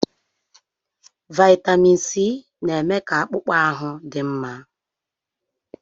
Vaịtamin Sii na-eme ka akpụkpọ ahụ dị mma.